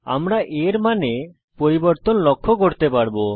আমরা a এর মানে পরিবর্তন লক্ষ্য করতে পারবো